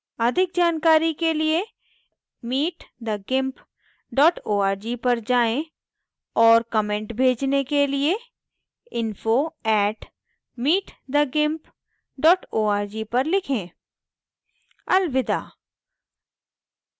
अधिक जानकारी के लिए